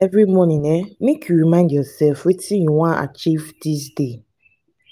every morning um make you remind yoursef wetin you wan achieve dis day.